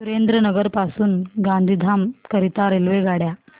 सुरेंद्रनगर पासून गांधीधाम करीता रेल्वेगाड्या